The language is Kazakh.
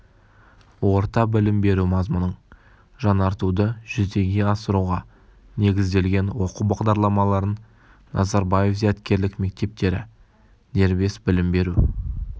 орта білім беру мазмұнын жаңартуды жүзеге асыруға негізделген оқу бағдарламаларын назарбаев зияткерлік мектептері дербес білім беру